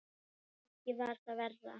Ekki var það verra.